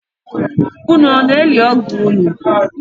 Unu na-eli ọgọ unu?